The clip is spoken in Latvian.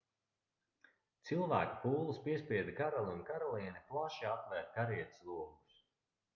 cilvēku pūlis piespieda karali un karalieni plaši atvērt karietes logus